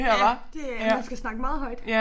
Ja det er man skal snakke meget højt